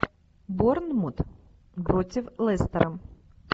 борнмут против лестера